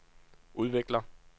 udvikler